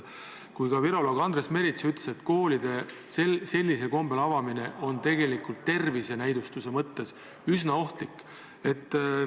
Ka viroloog Andres Merits ütles, et koolide sellisel kombel avamine on tervise näidustuse mõttes üsna ohtlik.